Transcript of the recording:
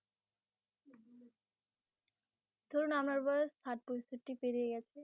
ধরুন আপনার বয়স পেরিয়ে গেছে